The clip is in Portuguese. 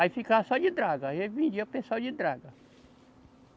Aí ficava só de draga, aí eu vendia o pessoal de draga.